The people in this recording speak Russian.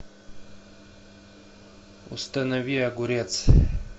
установи огурец